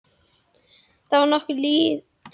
Þá var nokkuð liðið á fögnuðinn og fólk orðið drukkið.